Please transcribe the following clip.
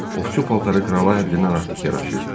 Ovçu paltarı krala həddindən artıq yaraşırdı.